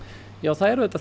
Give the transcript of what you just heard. það er auðvitað